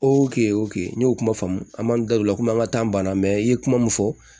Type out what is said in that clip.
n y'o kuma faamu an m'an da don o la komi an ka taa banna mɛ i ye kuma min fɔ